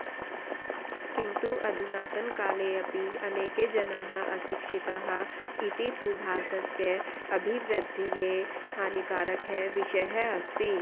किन्तु अधुनातनकालेऽपि अनेके जनाः अशिक्षिताः इति तु भारतस्य अभिवृद्धये हानिकारकः विषयः अस्ति